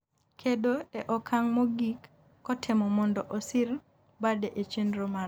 kedo e okang' mogik kotemo mondo osir bade e chenro mare